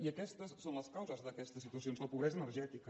i aquestes són les causes d’aquestes situacions la pobresa energètica